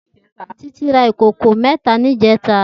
Titi rá ikókó mètá nijètá